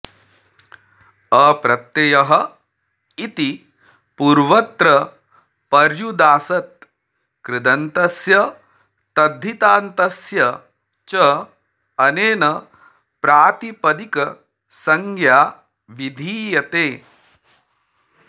अप्रत्ययः इति पूर्वत्र पर्युदासत् कृदन्तस्य तद्धितान्तस्य च अनेन प्रातिपदिकसंज्ञा विधीयते